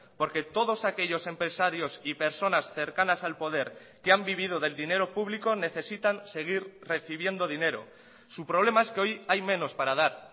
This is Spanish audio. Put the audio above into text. porque todos aquellos empresarios y personas cercanas al poder que han vivido del dinero público necesitan seguir recibiendo dinero su problema es que hoy hay menos para dar